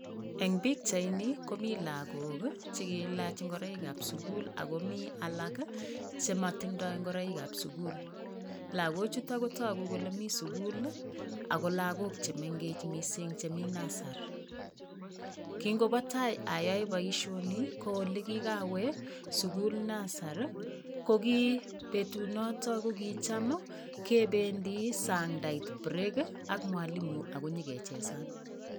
Eng pichaini, komi lagok ii che kiilach ngoraikab sugul ak komi alak ii che matinda ngoraikab sugul. Lagochuto ko tagu kole mi sugul ii ago lagok che mengech mising che mi nusari. Kingobo tai ayae boisioni, ko olegigawe sugul nasari, kogi betunoto ko kicham ii kebendi sang ndait break ii ak mwalimu akonyakechesan.